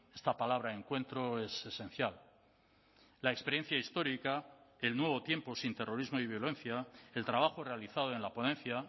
esta palabra encuentro es esencial la experiencia histórica el nuevo tiempo sin terrorismo y violencia el trabajo realizado en la ponencia